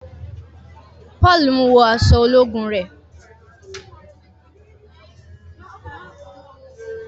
Paul ń wọ aṣọ ológun rẹ.